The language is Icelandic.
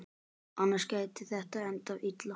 Annars gæti þetta endað illa.